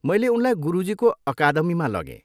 मैले उनलाई गुरुजीको अकादमीमा लगेँ।